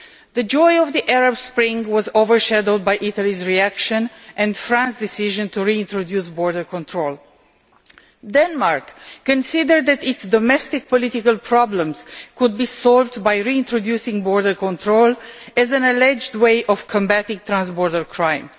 The joy of the Arab Spring was over shadowed by Italy's reaction and France's decision to reintroduce border control. Denmark considered that its domestic political problems could be solved by reintroducing border control as an alleged way of combating trans border crime.